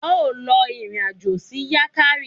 A ó lọ ìrìn àjò sí Yankari.